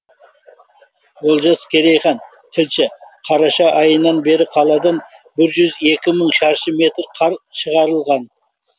олжас керейхан тілші қараша айынан бері қаладан бір жүз екі мың шаршы метр қар шығарылған